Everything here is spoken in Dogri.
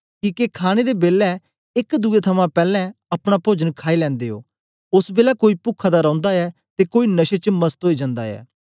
किके खाणे दे बेलै एक दुए थमां पैलैं अपना पोजन खाई लैंदे ओ ओस बेलै कोई पुखा दा रौंदा ऐ ते कोई नशे च मस्त ओई जंदा ऐ